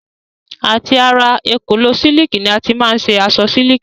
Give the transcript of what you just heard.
Àti ara èkòló sílìkì ni a ti má n ṣe aṣọ sílìkì.